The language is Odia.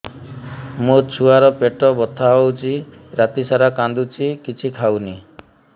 ମୋ ଛୁଆ ର ପେଟ ବଥା ହଉଚି ରାତିସାରା କାନ୍ଦୁଚି କିଛି ଖାଉନି